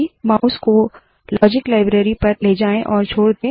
mouse को logic library पर ले जाए और छोड़ दे